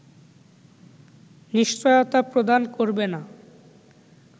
নিশ্চয়তা প্রদান করবে না